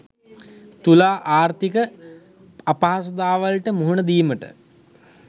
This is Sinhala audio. තුලා ආර්ථික අපහසුතාවලට මුහුණ දීමට